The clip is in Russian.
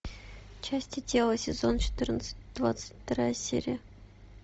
части тела сезон четырнадцать двадцать вторая серия